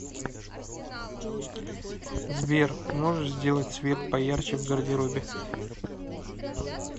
сбер можешь сделать свет поярче в гардеробе